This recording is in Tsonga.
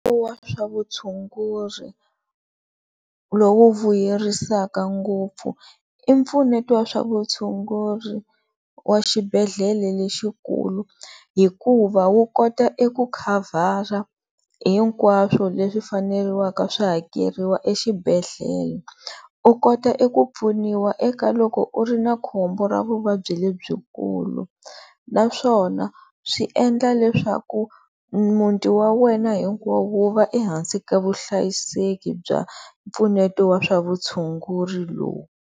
Wa swa vutshunguri lowu vuyerisaka ngopfu i mpfuneto wa swa vutshunguri wa xibedhlele lexikulu hikuva wu kota eku cover-a hinkwaswo leswi faneleke swi hakeriwa exibedhlele, u kota eku pfuniwa eka loko u ri na khombo ra vuvabyi lebyikulu naswona swi endla leswaku muti wa wena hinkwawo wu va ehansi ka vuhlayiseki bya mpfuneto wa swa vutshunguri lowu.